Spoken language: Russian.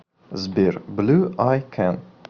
сбер блю ай кэн